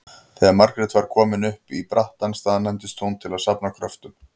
Þegar Margrét var komin upp í brattann staðnæmdist hún til að safna kröftum.